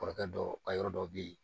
Kɔrɔkɛ dɔ a yɔrɔ dɔ be yen